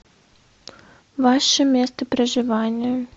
ваше место проживания